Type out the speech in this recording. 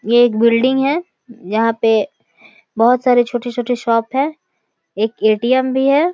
ये एक बिल्डिंग है यहां पे बहुत सारे छोटे-छोटे शॉप हैं एक ए.टी.एम. भी है।